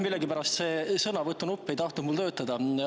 Millegipärast ei tahtnud sõnavõtunupp mul töötada.